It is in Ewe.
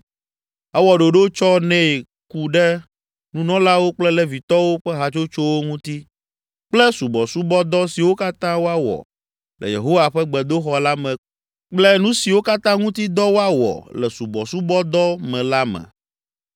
Ewɔ ɖoɖo tsɔ nɛ ku ɖe nunɔlawo kple Levitɔwo ƒe hatsotsowo ŋuti kple subɔsubɔdɔ siwo katã woawɔ le Yehowa ƒe gbedoxɔ la me kple nu siwo katã ŋuti dɔ woawɔ le subɔsubɔdɔ me la me.